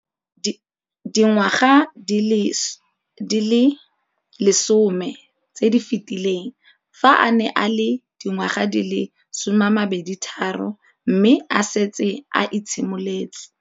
Dingwaga di le 10 tse di fetileng, fa a ne a le dingwaga di le 23 mme a setse a itshimoletse.